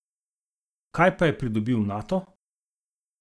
Kaj pa je pridobil Nato?